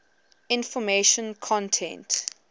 information content